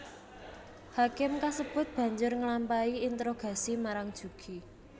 Hakim kasebut banjur nglampahi interogasi marang Jugi